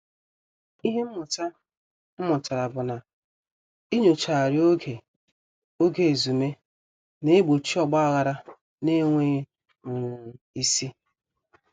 Ihe mmụta m mụtara bụ na inyochaghari oge oge ezumee na-egbochi ogbaghara n'enweghị um isi.